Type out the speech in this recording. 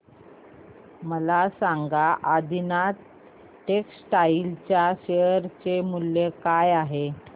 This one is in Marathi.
मला सांगा आदिनाथ टेक्स्टटाइल च्या शेअर चे मूल्य काय आहे